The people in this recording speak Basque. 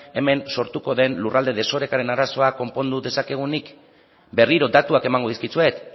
hemen sortuko den lurralde desorekaren arazoa konpondu dezakegunik berriro datuak emango dizkizuet